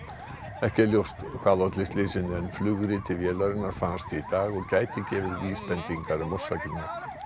ekki er ljóst hvað olli slysinu en flugriti vélarinnar fannst í dag og gæti gefið vísbendingar um orsakirnar